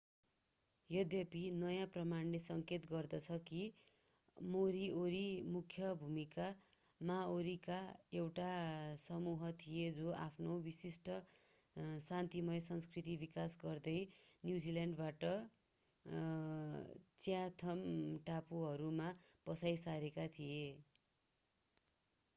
यद्यपि नयाँ प्रमाणले संकेत गर्दछ कि मोरीओरी मुख्य भूमि माओरीका एउटा समूह थिए जो आफ्नो विशिष्ट शान्तिमय संस्कृति विकास गर्दै न्युजिल्यान्डबाट च्याथम टापुहरूमा बसाई सरेका थिए